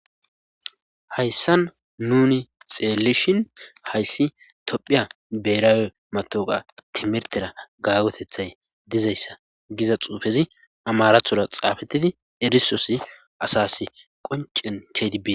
hayssan nuni xeelishin hayssi tophiya beeraawe matoqa timirtera gaagotethay dizayssa giza xuufezi amarathora xaafettidi erisosi asas qoncen kedi bin